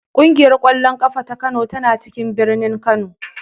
Ƙungiyar ƙwallon ƙafa ta Kano tana cikin birnin Kano.